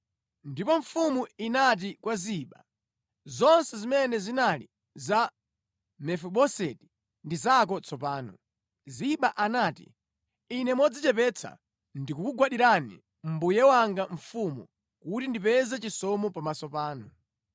Ndipo mfumu inati kwa Ziba, “Zonse zimene zinali za Mefiboseti ndi zako tsopano.” Ziba anati, “Ine modzichepetsa ndikukugwandirani, mbuye wanga mfumu, kuti ndipeze chisomo pamaso panu.”